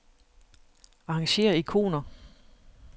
Arrangér ikoner.